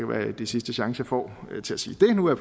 være det er sidste chance jeg får til at sige det nu er